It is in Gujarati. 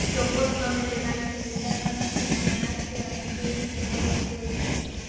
ચોક્કસ તમે તેના વિશે વિચારવાનો છે હમણાં છે અને કેવી રીતે કરવું તે છે